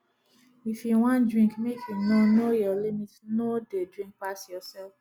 if you wan drink make you know know your limit no dey drink pass yourself